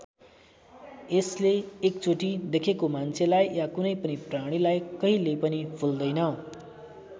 यसले एकचोटि देखेको मान्छेलाई या कुनै पनि प्राणीलाई कहिल्यै पनि भुल्दैन।